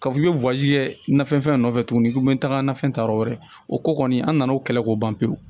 K'a fɔ k'i bɛ nafɛn nɔfɛ tugun i bɛ taga na fɛn ta yɔrɔ wɛrɛ o ko kɔni an nana o kɛlɛ k'o ban pewu